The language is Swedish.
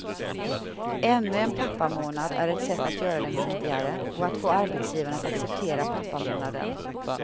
Ännu en pappamånad är ett sätt att göra den viktigare, och att få arbetsgivarna att acceptera pappamånaden.